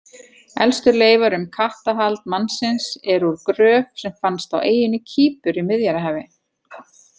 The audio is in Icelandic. Elstu leifar um kattahald mannsins, eru úr gröf sem fannst á eyjunni Kýpur í Miðjarðarhafi.